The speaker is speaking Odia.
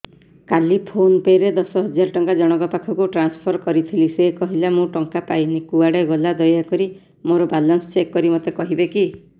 କାଲି ଫୋନ୍ ପେ ରେ ଦଶ ହଜାର ଟଙ୍କା ଜଣକ ପାଖକୁ ଟ୍ରାନ୍ସଫର୍ କରିଥିଲି ସେ କହିଲା ମୁଁ ଟଙ୍କା ପାଇନି କୁଆଡେ ଗଲା ଦୟାକରି ମୋର ବାଲାନ୍ସ ଚେକ୍ କରି ମୋତେ କହିବେ କି